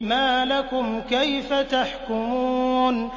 مَا لَكُمْ كَيْفَ تَحْكُمُونَ